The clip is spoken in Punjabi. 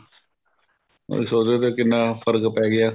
ਉਹੀ ਸੋਚ ਰਹੇ ਸੀ ਕਿੰਨਾ ਫ਼ਰਕ ਪੈ ਗਿਆ